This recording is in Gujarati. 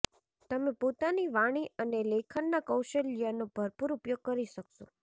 તમે પોતાની વાણી અને લેખનના કૌશલ્યનો ભરપુર ઉપયોગ કરી શકશો